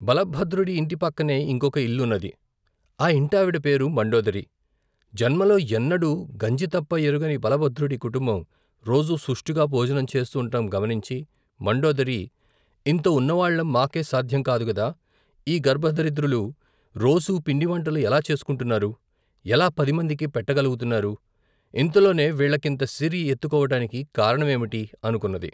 బలభద్రుడి ఇంటి పక్కనే ఇంకొక ఇల్లున్నది. ఆ ఇంటావిడ పేరు మండోదరి.జన్మలో ఎన్నడూ గంజితప్ప ఎరుగని బలభద్రుడి కుటుబం రోజూ సుష్టుగా భోజనం చేస్తూండటం గమనించి మండోదరి, ఇంత ఉన్నవాళ్లం మాకే సాధ్యంకాదుగదా, ఈ గర్భదరిద్రులు రోజూ పిండివంటలు ఎలా చేసుకుంటున్నారు ? ఎలా పదిమందికీ పెట్టగలుగుతున్నారు? ఇంతలోనే వీళ్లకింత సిరి ఎత్తుకోవటానికి కారణమేమిటి? అనుకున్నది.